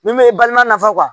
Min bɛ balima nafa